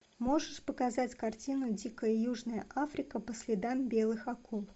можешь показать картину дикая южная африка по следам белых акул